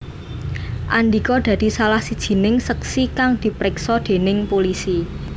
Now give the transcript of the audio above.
Andika dadi salah sijining seksi kang dipriksa déning pulisi